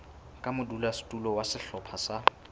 ka modulasetulo wa sehlopha sa